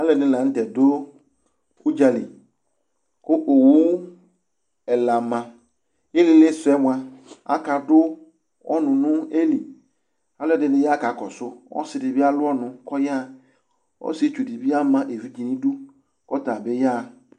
Aalɛɖini ľanʋtɛ ɖʋ ʋdzali kʋ owu ɛla maIilili suɛ moa, akaɖʋ ɔnʋ nʋ ailiAlʋɛɖini ya k'akɔsʋ ɔziɖibi alʋ ɔnʋ kʋ ɔyaɣaɔsietsuɖibi ama evidze' n'iɖʋ k'ʋtabi yaɣa